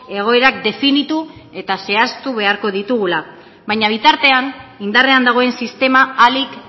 egoerak definitu eta zehaztu beharko ditugula baina bitartean indarrean dagoen sistema ahalik